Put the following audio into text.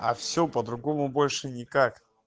а все по-другому больше никак